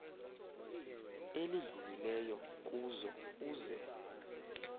elidlulileyo kuzo uze